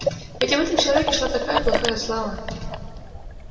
ведь об этом человеке шла такая плохая слава